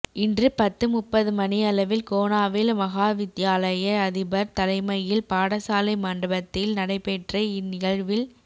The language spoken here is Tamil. இன்று பத்து முப்பது மணியளவில் கோணாவில் மகாவித்தியாலய அதிபர் தலைமையில் பாடசாலை மண்டபத்தில் நடைபெற்ற இன் நிகழ்வில்